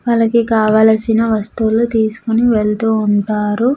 వాళ్ళకి కావలసిన వస్తువులు తీసుకొని వెళ్తూ ఉంటారు.